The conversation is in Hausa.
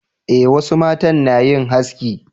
eh wasu matan na yin haski